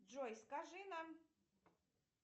джой скажи нам